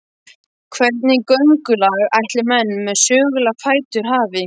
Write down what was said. Hvernig göngulag ætli menn með sögulega fætur hafi?